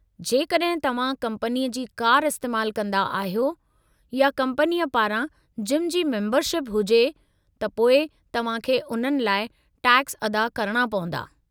जेकॾहिं तव्हां कम्पनीअ जी कार इस्तेमाल कंदा अहियो या कम्पनी पारां जिम जी मेंबरशिप हुजे, त पोइ तव्हां खे उन्हनि लाइ टैक्स अदा करणा पवंदा।